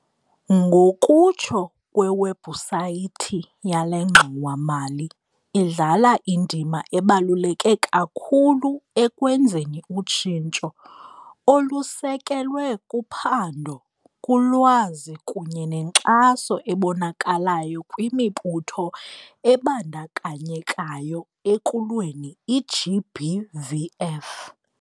Ngokutsho kwewebhusayithi yale ngxowa-mali, idlala indima ebaluleke kakhulu ekwenzeni utshintsho, olusekelwe kuphando, kulwazi kunye nenkxaso ebonakalayo kwimibutho ebandakanyekayo ekulweni i-GBVF.